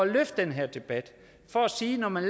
løfte den her debat og sige at når man